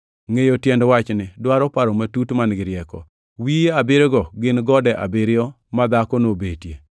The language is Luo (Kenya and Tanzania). “Ngʼeyo tiend wachni dwaro paro matut man-gi rieko. Wiye abiriyogo gin gode abiriyo ma dhakono obetie.